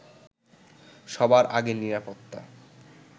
সবার আগে নিরাপত্তা